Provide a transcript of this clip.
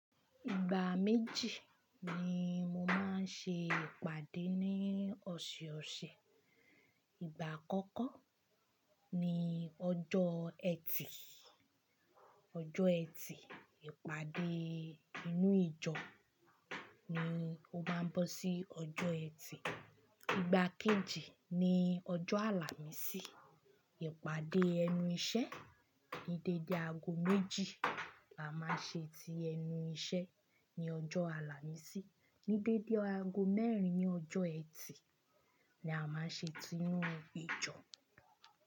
Ìgbà méjì ni mo máa ń ṣe ìpàdé ní ọ̀ṣẹ̀ ọ̀ṣẹ̀. Ìgbà àkọ́kọ́ ni ọjọ́ ẹtì, ọjọ́ ẹtì, ìpàdé inú ìjọ ni ó máa ń bọ sí ọjọ́ ẹtì. Ìgbà kejì ni ọjọ́ àlàmísì, ìpàdé ẹnu iṣẹ́ ní dédé aago méjì là má ṣe ti ẹnu iṣẹ́ ní ọjọ́ àlámísì, ní dédé aago mẹ́rin ní ọjọ́ ẹtì ni a máa ń ṣe ti inú ìjọ.